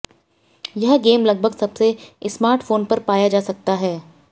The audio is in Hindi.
यह गेम लगभग सबसे स्मार्टफोन्स पर पाया जा सकता है